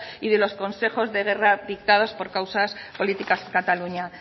y de los consejos de guerra dictado por causas políticas en cataluña